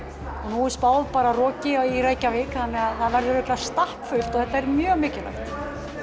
nú er spáð roki í Reykjavík og það verður ábyggilega þetta er mjög mikilvægt